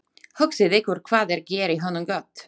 Hugsið ykkur hvað ég geri honum gott.